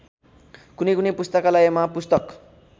कुनैकुनै पुस्तकालयमा पुस्तक